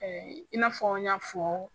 i n'a fɔ n y'a fɔ.